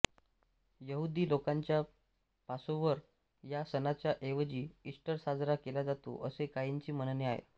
यहुदी लोकांच्या पासोव्हर या सणाच्या ऐवजी ईस्टर साजरा केला जातो असे काहींचे म्हणणे आहे